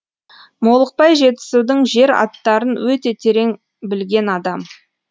молықбай жетісудың жер аттарын өте терең білген адам